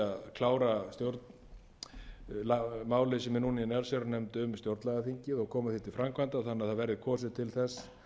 klára málið sem er núna í allsherjarnefnd um stjórnlagaþingið og koma því til framkvæmda þannig að kosið verði til þess